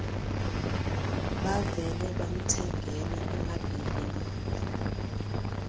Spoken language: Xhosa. bavele bamthengela emabheleni